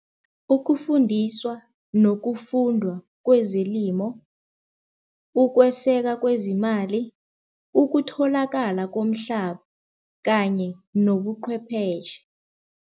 Ukufundiswa nokufundwa kwezelimo, ukweseka kwezimali, ukutholakala komhlaba kanye nobuqhwepheshe.